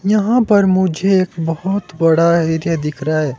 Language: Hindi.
यहां पर मुझे एक बहोत बड़ा एरिया दिख रहा है।